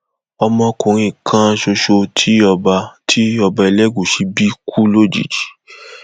ọmọkùnrin kan ṣoṣo tí ọba tí ọba elégùṣì bí kú lójijì